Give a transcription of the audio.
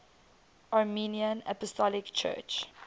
armenian apostolic church